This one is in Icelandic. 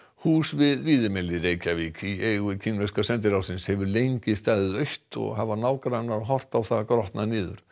hús við Víðimel í Reykjavík í eigu kínverska sendiráðsins hefur lengi staðið autt og hafa nágrannar horft á það grotna niður